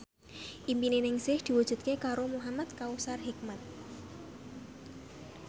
impine Ningsih diwujudke karo Muhamad Kautsar Hikmat